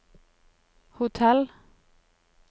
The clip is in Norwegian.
hotell